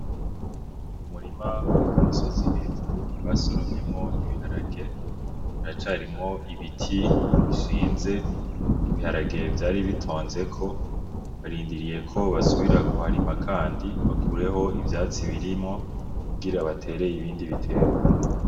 Umurima uri ku misozi hejuru basoromyemo ibiharage haracarimwo ibiti bishinze ibiharage vyari bitonzeko barindiriyeko basubira kuharima kandi bakureho ivyatsi birimwo kugira batere ibindi bitegwa.